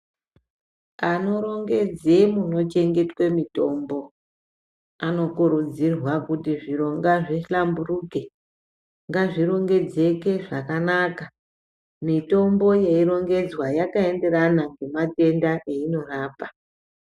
Anorongedze munochengetwe mitombo, anokurudzirwa kuti zviro ngazvihlamburuke, ngazvirongedzeke zvakanaka, mitombo yeirongedzwa yakaenderana nematenda einorapa.